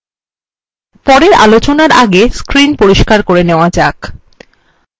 পরের আলোচনা আগে screen পরিস্কার করে নেওয়া যাক